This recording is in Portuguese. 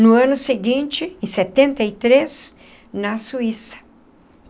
No ano seguinte, em setenta e três, na Suíça.